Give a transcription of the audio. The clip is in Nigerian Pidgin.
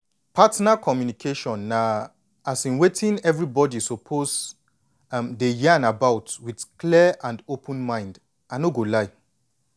partner communication na um wetin everybody suppose um dey yan about with clear and open mind i no go lie